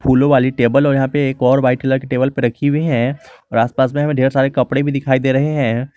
फूलों वाली टेबल और यहां पे एक और वाइट कलर टेबल पर रखी हुई हैं और आसपास में ढेर सारे कपड़े भी दिखाई दे रहे हैं।